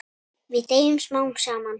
Við deyjum smám saman.